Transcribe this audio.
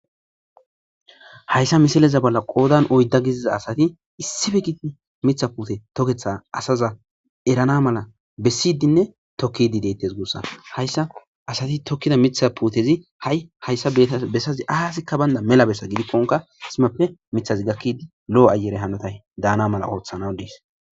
hayssa misileza bolla qoodan oydda giziza asati issife giti mitha pute toketha asaza erana mala bessidinne tokkidi deettes guussa hayssa asati tokkida mitha puutezi ha7i hayssa bessazi aasikka baynda mela bessa gidikkonka isimappe mithazi gakkidi lo7o ayere hanotay daana mala ooththanaw diis